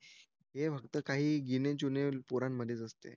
हे फक्त काही गिण्या चून्या पोरांमध्येच असतं